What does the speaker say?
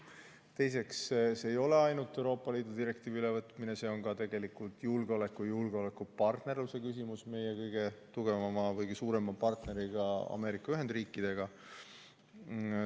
Teiseks, see ei ole ainult Euroopa Liidu direktiivi ülevõtmine, see on tegelikult ka julgeoleku ja julgeolekupartnerluse küsimus meie kõige tugevama partneriga, nimelt Ameerika Ühendriikidega.